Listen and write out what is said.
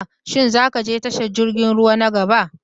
Shin za ka je tashar jirgin ruwa na gaba?